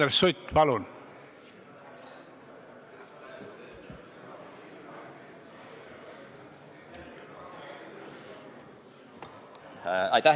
Andres Sutt, palun!